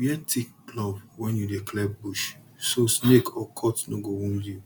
wear thick glove when you dey clear bush so snake or cut no go wound you